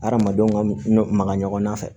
Adamadenw ka maga ɲɔgɔnna fɛ